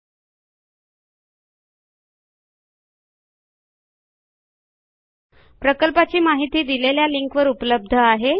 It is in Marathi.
सदर प्रकल्पाची माहिती देणारा व्हिडीओ खालील लिंकवर उपलब्ध आहे